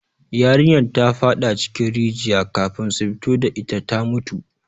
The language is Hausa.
Yarinyar ta fada cikin rigiya, kafin su fito da ita ta mutu